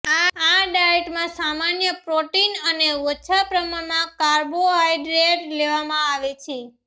આ ડાયટમાં સામાન્ય પ્રોટીન અને ઓછા પ્રમાણમાં કાર્બોહાઇડ્રેટ લેવામાં આવે છે